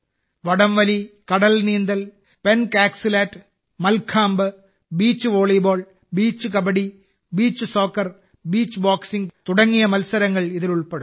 വടംവലി കടൽനീന്തൽ pencak silat mallakhamb beach volleyball beach kabaddi beach soccer beach boxing തുടങ്ങിയ മത്സരങ്ങൾ ഇതിൽ ഉൾപ്പെടുന്നു